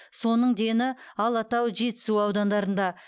соның дені алатау жетісу аудандарында